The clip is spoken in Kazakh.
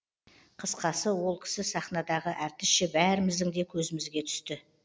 қысқасы ол кісі сахнадағы әртісше бәріміздің де көзімізге түсті